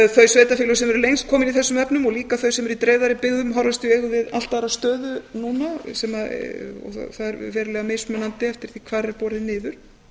þau sveitarfélög sem eru lengst komin í þessum efnum og líka þau sem eru í dreifðari byggðum horfast í augu við allt aðra stöðu núna sem er verulega mismunandi eftir því hvar er borið niður